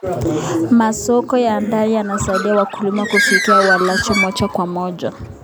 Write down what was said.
Masoko ya ndani yanasaidia wakulima kufikia walaji moja kwa moja.